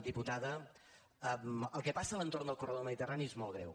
diputada el que passa a l’entorn del corredor mediterrani és molt greu